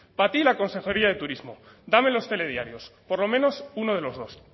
para ti la consejería de turismo dame los telediarios por lo menos uno de los dos